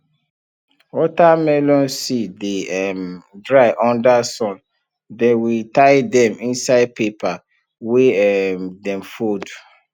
watermelon seed dey um dry under sun then we tie dem inside paper wey um dem fold